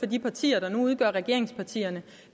de partier der nu udgør regeringspartierne